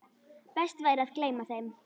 Best væri að gleyma þeim.